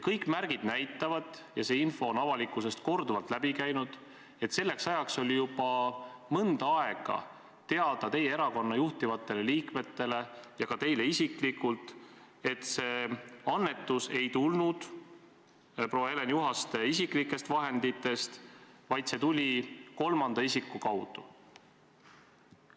" Kõik märgid näitavad – ja see info on avalikkusest korduvalt läbi käinud –, et selleks ajaks oli juba mõnda aega teada teie erakonna juhtivatele liikmetele ja ka teile isiklikult, et annetus ei tulnud proua Helen Juhaste isiklikest vahenditest, vaid see tuli kolmanda isiku kaudu.